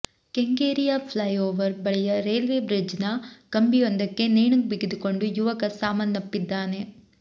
ಕೆಂಗೇರಿಯ flyover ಬಳಿಯ railway bridge ನ ಕಂಬಿಯೊಂದಕ್ಕೆ ನೇಣು ಬಿಗಿದುಕೊಂಡು ಯುವಕ ಸಾವನ್ನಪ್ಪಿದ್ದಾನೆ